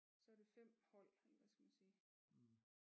Så er der 5 hold eller hvad skal man sige